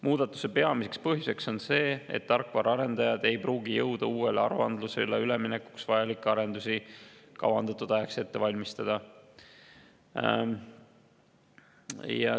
Muudatuse peamine põhjus on see, et tarkvaraarendajad ei pruugi jõuda uuele aruandlusele üleminekuks vajalikke arendusi kavandatud ajaks ette valmistada.